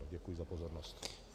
Děkuji za pozornost.